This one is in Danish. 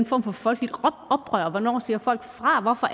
form for folkeligt oprør hvornår siger folk fra hvorfor